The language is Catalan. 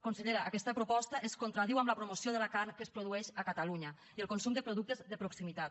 consellera aquesta proposta es contradiu amb la promoció de la carn que es produeix a catalunya i el consum de productes de proximitat